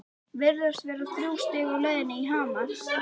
Virðast vera þrjú stig á leið í Hamar?